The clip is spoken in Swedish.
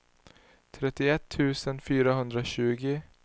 trettioett tusen fyrahundratjugo